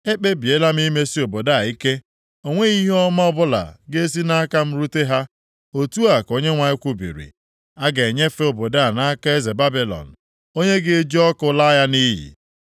Ekpebiela m imesi obodo a ike; o nweghị ihe ọma ọbụla ga-esi nʼaka m rute ha, otu a ka Onyenwe anyị kwubiri. A ga-enyefe obodo a nʼaka eze Babilọn, onye ga-eji ọkụ laa ya nʼiyi.’